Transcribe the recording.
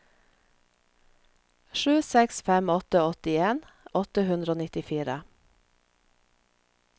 sju seks fem åtte åttien åtte hundre og nittifire